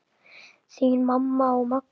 Þín mamma og Magnús.